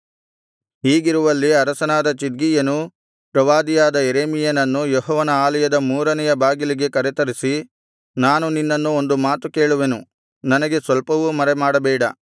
ಹೀಗಿರುವಲ್ಲಿ ಅರಸನಾದ ಚಿದ್ಕೀಯನು ಪ್ರವಾದಿಯಾದ ಯೆರೆಮೀಯನನ್ನು ಯೆಹೋವನ ಆಲಯದ ಮೂರನೆಯ ಬಾಗಿಲಿಗೆ ಕರೆತರಿಸಿ ನಾನು ನಿನ್ನನ್ನು ಒಂದು ಮಾತು ಕೇಳುವೆನು ನನಗೆ ಸ್ವಲ್ಪವೂ ಮರೆಮಾಡಬೇಡ